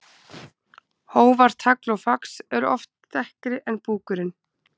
Hófar, tagl og fax eru oft dekkri en búkurinn.